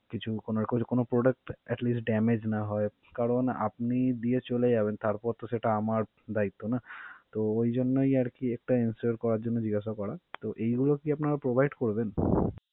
কিছু কোনো রকমের কোনো product at least damaged না হয়, কারণ আপনি দিয়ে চলে যাবেন তারপর তো সেটা আমার বা দায়িত্ব না? তো ওই জন্যই আর কি এটা ensure করার জন্য জিজ্ঞেসা করা. তো এইগুলো কি আপনারা provide করবেন?